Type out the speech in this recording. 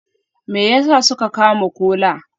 Me yasa suka kama Kola?